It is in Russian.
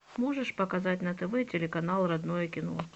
можешь показать на тв телеканал родное кино